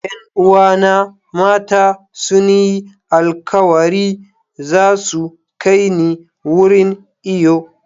Yan uwana mata sun yi alkawari za su kai ni wurin iyo.